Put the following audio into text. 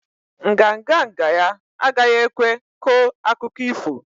Nganga nga ya agaghi ekwe ko akụkọ ifo